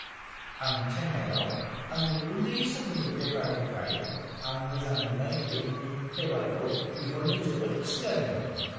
आं चेन्नाइआव आंनि उन्दै समनि बेकारनिफ्राय आं मोजां मोन्नाय केकनि फ्लेबारखौ बिहरनो जोबोद खुसि जादोंमोन।